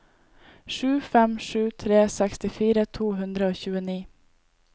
sju fem sju tre sekstifire to hundre og tjueni